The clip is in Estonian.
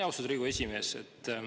Austatud Riigikogu esimees!